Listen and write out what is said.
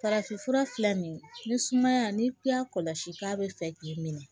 Farafinfura filɛ nin ye ni sumaya n'i y'a kɔlɔsi k'a bɛ fɛ k'i minɛ